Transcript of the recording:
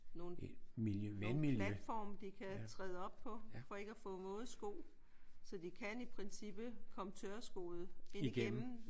Nogle platforme de kan træde op på for ikke at få våde sko. Så de kan i princippet komme tørskoede ind igennem